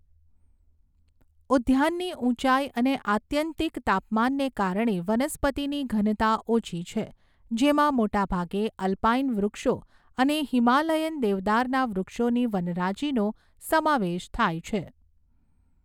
ઉદ્યાનની ઉંચાઈ અને આત્યંતિક તાપમાનને કારણે વનસ્પતિની ઘનતા ઓછી છે, જેમાં મોટાભાગે અલ્પાઇન વૃક્ષો અને હિમાલયન દેવદારના વૃક્ષોની વનરાજીનો સમાવેશ થાય છે.